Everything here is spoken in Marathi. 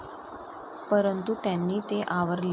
परंतू त्यांनी ते आवरले.